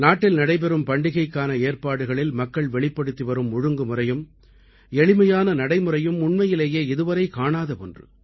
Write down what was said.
நாட்டில் நடைபெறும் பண்டிகைக்கான ஏற்பாடுகளில் மக்கள் வெளிப்படுத்தி வரும் ஒழுங்குமுறையும் எளிமையான நடைமுறையும் உண்மையிலேயே இதுவரை காணாத ஒன்று